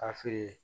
K'a feere